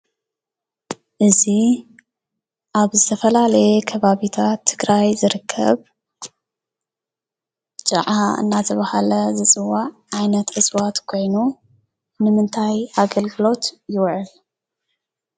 እዚ ኣብ ዝተፋላለየ ከባቢታት ትግራይ ዝርክብ ጫዓ እናተባሃለ ዝፅዋዓ ዓይነት እፅዋት ኮይኑ ንምንታይ ኣገልግሎት ይዉዕል?